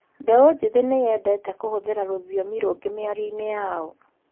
mbeũ njĩthĩ nĩyendete kũhũthĩra rũthiomi rũngĩ mĩarionĩ yao